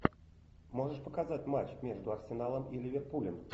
можешь показать матч между арсеналом и ливерпулем